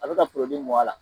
A bɛ ka mun a la.